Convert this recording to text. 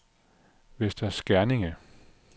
Vester Skerning